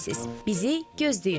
Bizi gözləyin.